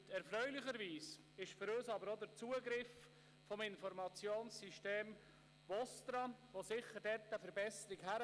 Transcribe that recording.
Erfreulich ist für uns aber auch der Zugriff auf das Informationssystem VOSTRA, der sicher eine Verbesserung bringt.